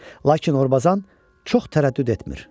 Lakin Orbazan çox tərəddüd etmir.